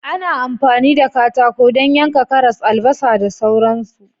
Ana amfani da katako don yanka karas, albasa da sauran su